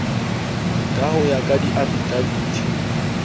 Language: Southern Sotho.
ka ho ya ka diafidaviti